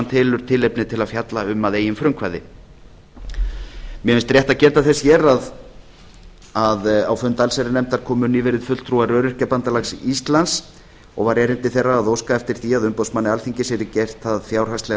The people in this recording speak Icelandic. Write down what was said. telur tilefni til að fjalla um að eigin frumkvæði mér finnst rétt að geta þess hér að á fund allsherjarnefndar komu nýverið fulltrúar öryrkjabandalags íslands og var erindi þeirra að óska eftir því að umboðsmanni alþingis yrði gert það fjárhagslega